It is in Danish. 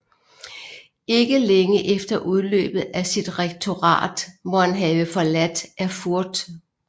Ikke længe efter udløbet af sit rektorat må han have forladt Erfurt